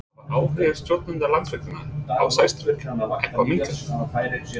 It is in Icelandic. En hefur áhugi stjórnenda Landsvirkjunar á sæstreng eitthvað minnkað?